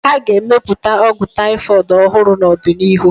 A ga-emepụta ọgwụ taifọịd ọhụrụ n'ọdịnihu.